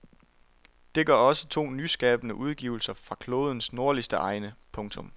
Det gør også to nyskabende udgivelser fra klodens nordligste egne. punktum